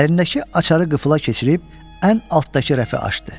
Əlindəki açarı qıfıla keçirib ən altdakı rəfi açdı.